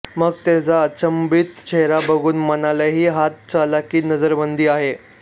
मग त्याचा अचंबित चेहरा बघून म्हणालेही हातचलाखीनजरबंदी आहे